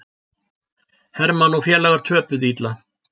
Hermann og félagar töpuðu illa